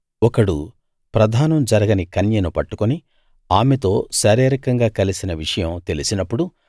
ఒకడు ప్రదానం జరగని కన్యను పట్టుకుని ఆమెతో శారీరకంగా కలిసిన విషయం తెలిసినప్పుడు